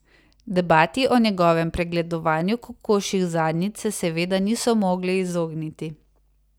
Debati o njegovem pregledovanju kokošjih zadnjic se seveda niso mogli izogniti.